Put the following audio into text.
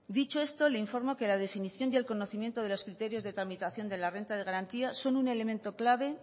dicho esto le informo que la definición y el conocimiento de los criterios de tramitación de la renta de garantía son un elemento clave